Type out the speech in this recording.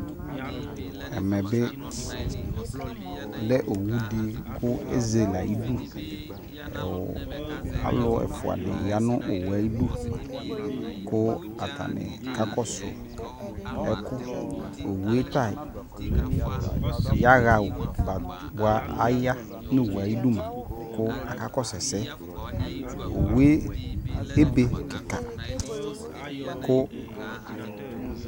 ɛmɛ bi lɛ owu di ko ezele ayidu alo ɛfua di ya no owue ayidu ko atani kakɔso ɛko owue ta yaɣa boa aya no owue ayidu moa ko akakɔso ɛsɛ owue ebe keka ko